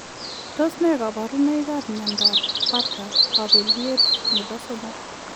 Tos ne kabarunoik ap miondoop Batta kabileet nepo somok ?